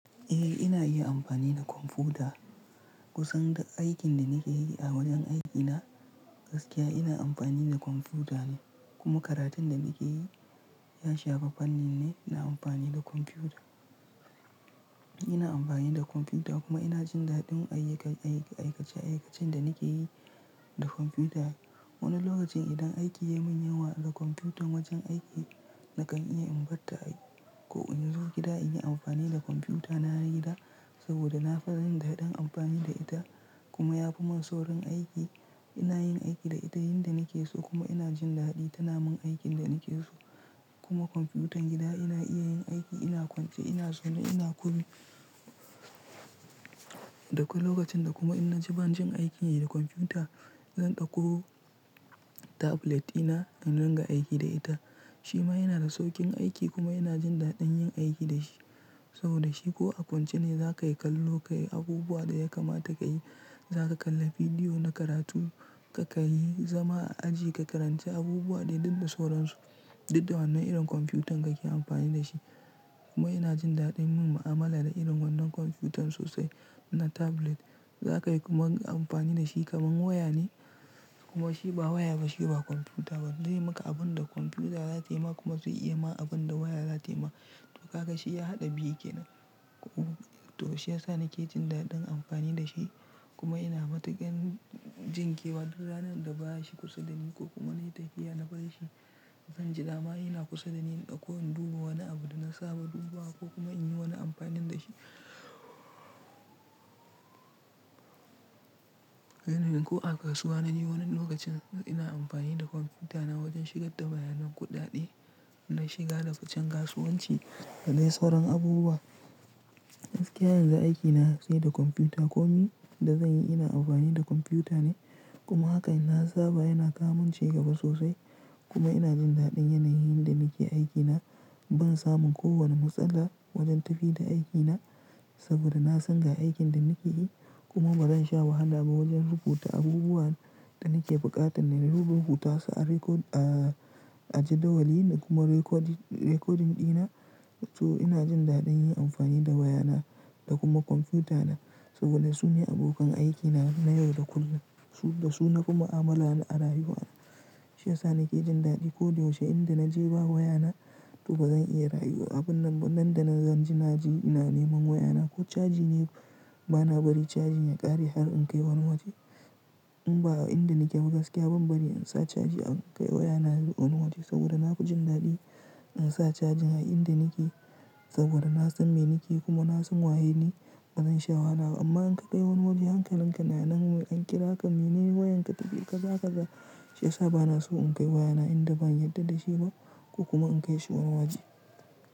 Eh ina iya amfani da kwamfuta. Kusan duk aikin da nake yi a wajen aikina gaskiya ina amfani da kwamfuta ne kuma karatun da nake yi ya shafa fannin ne ina amfani da kwamfuta. Ina amfani da kwamfuta kuma ina jin daɗin ayyuka-- ayyuka-- aikace-aikacen da nake yi da kwamfuta. Wani lokacin idan aiki ya min yawa da kwamfutan wajen aiki nakan iya in bar ta ko in zo gida in yi amfani da kwamfutana na gida saboda na fa yin daɗin amfani da ita kuma yafi mun saurin aiki. Ina yin aiki da ita yanda nake so kuma ina jin daɗi tana mun aikin da nake so. Kuma kwamfutan gida ina iya yin aiki, ina kwance, ina zaune, ina komi. Dakwai lokacin da kuma ina ji banjin aikin yi da kwamfuta zan ɗauko tablet dina in riga aiki da ita. Shi ma yana da sauƙin aiki kuma ina jin daɗin yin aiki da shi saboda shi ko a kwance ne zaka yi kallo, ka yi abubuwa da ya kamata ka yi. Zaka kalla bidiyo na karatu ka kalli, zama a aji ka karanci abubuwa dai duka sauran su. Duk da wannan irin kwamfutan kake amfani da shi. Kuma ina jin daɗin yin mu'amala da irin wannan kwamfutan sosai na tablet. Zaka iya kuma yi amfani da shi kamar waya ne kuma shi ba waya ba shi ba kwamfuta ba zai maka abun da kwamfuta zata ma kuma zai iya ma abun da waya zata ma. To kaga shi ya haɗa biyu ke nan. To shi yasa nake jin daɗin amfani da shi kuma ina matukar jinkewa duk ranar da baya shi kusa da ni ko kuma nayi tafiya na bar shi. Zan ji dama ina kusa da ni in dauko in duba wani abu da na saba duba wa ko kuma in yi wani amfanin da shi. Ko a kasuwa na ji wani lokacin ina amfani da kwamfutana wajen shigar da bayanar kuɗaɗe. Na shiga daga fi cen kasuwanci da dai sauran abubuwa. Gaskiya yanzu aikina sai da kwamfuta. Komai da zanyi ina amfani da kwamfuta ne kuma haka na saba yana kamun ce gaba sosai kuma ina jin daɗin yanayin da nike aikina ban samun kowane matsala wajen tafiya da aikina saboda na san ga aikin da nake yi kuma bazan sha wahala ba wajen rubuta abubuwan da nake buƙatan na yi rubutu su a rekod-- a, a jadawalin kuma rekodi-- rekodin ɗina. To ina jin daɗin yin amfani da wayana da kuma kwamfutana saboda su ne abokan aikina na yau da kullum. Su, da su na fi ma'amala a rayuwa. Shi yasa nake jin daɗi. Koda yaushe inda na je ba wayana to bazan iya rayuwa. Abun nan, nan da na ganjina ji ina neman wayana ko caji ne bana bari cajin ya ƙare har in kai wani waje. In ba a inda nake ba gaskiya ban bari in sa caji in kai wayana wani waje saboda na ku jin daɗi in sa cajin a inda nake saboda na san me nake yi kuma na san waye ne bazan sha wahala ba. Amma in ka kai wani waje hankalin ka yana nan mai an kira ka me neme wayanka tafi gaba kaga shi yasa bana so in kai wayana inda ban yarda da shi ba ko kuma in kai shi wani waje.